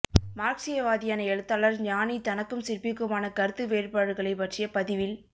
மார்க்சியவாதியான எழுத்தாளர் ஞானி தனக்கும் சிற்பிக்குமான கருத்து வேறுபாடுகளைப் பற்றிய பதிவில்